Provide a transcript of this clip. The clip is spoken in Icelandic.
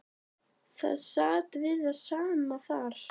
Það sat við það sama þar.